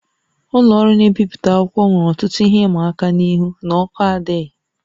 Ụlọ ọrụ na-ebipụta akwụkwọ nwere ọtụtụ ihe ịma aka n'ihi na ọkụ adịghị